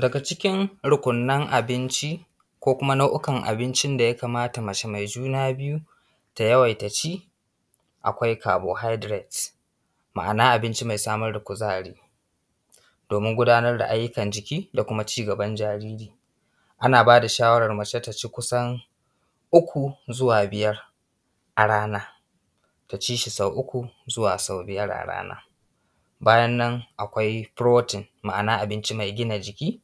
Daga cikin rukunan abinci ko kuma nau'ikan abinci da ya kamata mace mai juna biyu ta yawaita ci, akwai carbohydrate, ma'ana abinci mai samar da kuzari domin gudanar da ayyukan jiki da kuma cigaban jariri. Ana ba da shawara mace ta ci kusan uku zuwa biyar a rana, ta ci shi sau uku zuwa sau biyar a rana bayan nan akwai protein, ma'ana abinci mai gina jiki.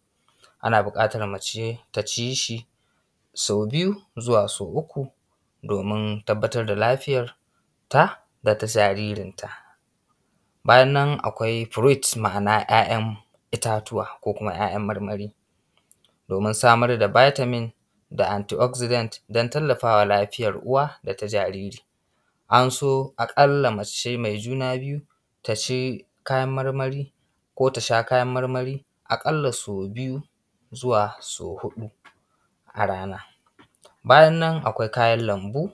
Ana buƙatan mace ta ci shi sau biyu zuwa sau uku domin tabbatar da lafiyar ta da ta jaririnta. Bayannan akwai fruit, ma'ana 'yayan itatuwa, ko kuma 'ya'yan marmari domin samar da vitamin da antioxidant don tallafawa lafiyar uwa da ta jaririn. An so a ƙalla mace mai juna biyu ta ci kayan marmari ko ta sha kayan marmari a ƙalla sau biyu zuwa sau huɗu a rana. Bayan nan akwai kayan lambu,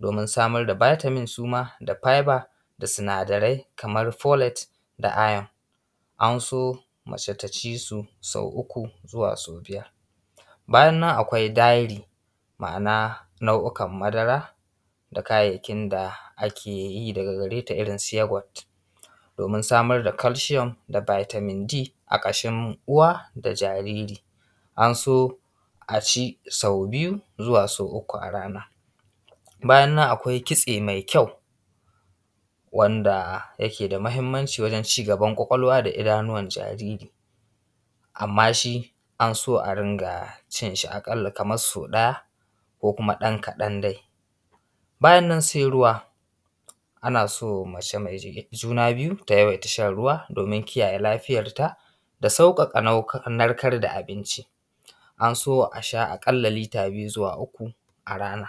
domin samar da vitamin suma da fiber da sinadarai kaman folet da iron. An so mace ta ci su sau uku zuwa sau biyar bayan nan akwai dairy. Ma'ana nau'ikan madara, da kayayyakin da ake yi daga gare ta. Irin su yoghurt domin samar da calcium da vitamin d a ƙashin uwa da jariri. An so a ci sau biyu zuwa sau uku a rana. Bayan nan akwai kitse mai kyau wanda yake da mahimmanci wajen cigaban ƙwaƙwalwa da idanuwan jariri, amman shi an so a ringa cin shi aƙalla kaman sau ɗaya ko kuma ɗan kaɗan dai. Bayan nan sai ruwa ana so mace mai juna biyu ta yawaita shan ruwa domin kiyaye lafiyar ta da sauƙaƙa narkar da abinci. An so a sha aƙalla lita biyu zuwa uku a rana.